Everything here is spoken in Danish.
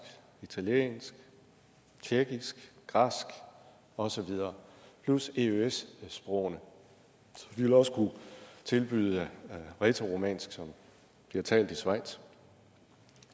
italiensk tjekkisk græsk og så videre plus eøs sprogene så de vil også kunne tilbyde rætoromansk som bliver talt i schweiz